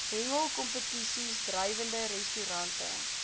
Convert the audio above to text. hengelkompetisies drywende restaurante